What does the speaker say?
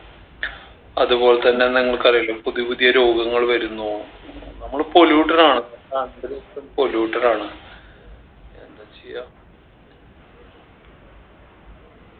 അതുപോലെ തന്നെ നിങ്ങൾക്ക് അറിയില്ലേ പുതിയ പുതിയ രോഗങ്ങൾ വരുന്നു നമ്മള് polluted ആണ് നമ്മടെ അന്തരീക്ഷം polluted ആണ് എന്താ ചെയ്യാ